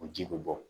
O ji bɛ bɔ